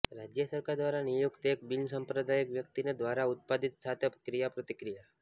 રાજ્ય સરકાર દ્વારા નિયુક્ત એક બિનસાંપ્રદાયિક વ્યક્તિને દ્વારા ઉત્પાદિત સાથે ક્રિયાપ્રતિક્રિયા